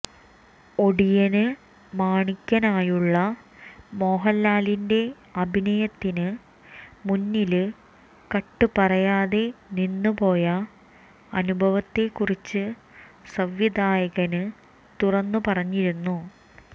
ഒടിയന് മാണിക്കനായുള്ള മോഹന്ലാലിന്റെ അഭിനയത്തിന് മുന്നില് കട്ട് പറയാതെ നിന്നുപോയ അനുഭവത്തെക്കുറിച്ച് സംവിധായകന് തുറന്നുപറഞ്ഞിരുന്നു